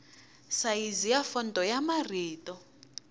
sayizi ya fonto ya marito